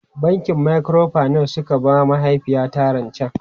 Bankin Microfinance suka ba mahaifiyata rancen.